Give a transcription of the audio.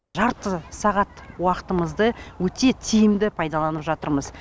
жарты сағат уақытымызды өте тиімді пайдаланып жатырмыз